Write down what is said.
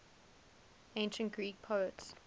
ancient greek poets